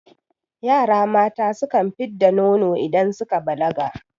Yara mata sukan fid da nono idan suka balaga